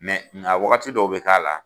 nka wagati dɔw bɛ k'a la